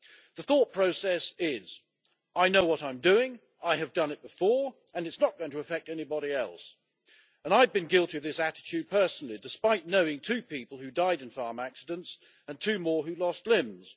The thought process is I know what I'm doing, I have done it before, and it's not going to affect anybody else', and I have been guilty of this attitude personally despite knowing two people who died in farm accidents, and two more who lost limbs.